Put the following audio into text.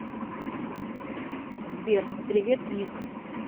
сбер привет ник